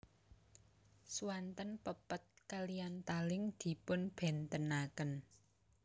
Swanten pepet kaliyan taling dipunbèntenaken